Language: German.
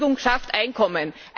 Beschäftigung schafft Einkommen.